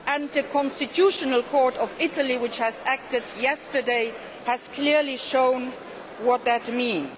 The constitutional court of Italy, which acted yesterday, has clearly shown what that means.